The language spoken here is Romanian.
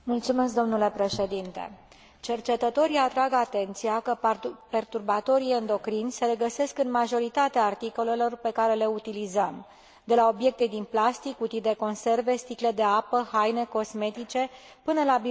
Cercetătorii atrag atenția că perturbatorii endocrini se regăsesc în majoritatea articolelor pe care le utilizăm, de la obiecte din plastic, cutii de conserve, sticle de apă, haine, cosmetice, până la biberoane și aparatură medicală.